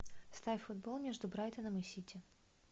ставь футбол между брайтоном и сити